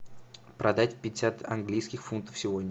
продать пятьдесят английских фунтов сегодня